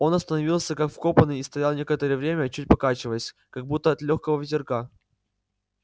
он остановился как вкопанный и стоял некоторое время чуть покачиваясь как будто от лёгкого ветерка